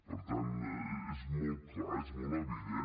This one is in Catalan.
per tant és molt clar és molt evident